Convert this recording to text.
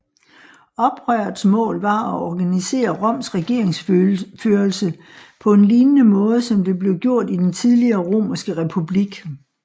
Oprørets mål var at organisere Roms regeringsførelse på en lignende måde som det blev gjort i den tidligere Romerske republik